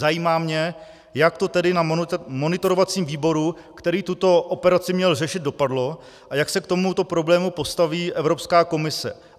Zajímá mě, jak to tedy na monitorovacím výboru, který tuto operaci měl řešit, dopadlo a jak se k tomuto problému postaví Evropská komise.